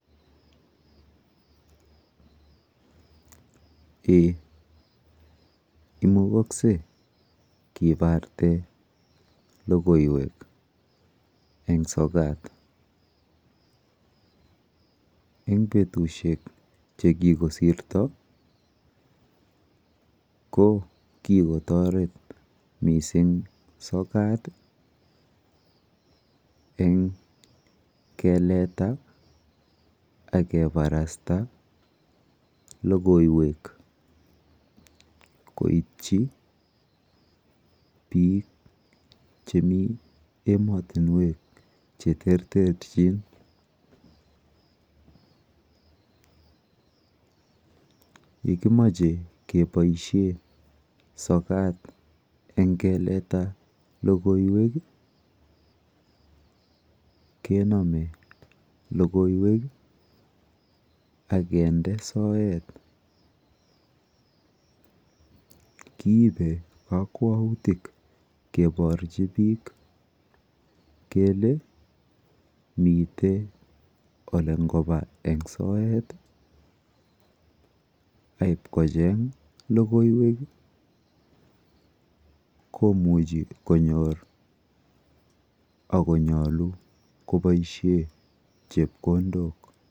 Eeh imukakse kiparte logoiwek eng' sokat. Eng' petushek che kikosirta ko kikotaret missing' sokat eng' keleta ak keparasta logoiwek koitchi piik chemi ematunwek che ter terchin. Ye kimache kepoishe sokat eng' keleta logoiwek, kename logoiwek ak kinde soet. Kiipe kakwautik keparchi piik kele mite ole ngopa eng' soet, koit ko cheng' logoiwek i, komuchi ko nyor ako nyalu kopaishe chepkondok.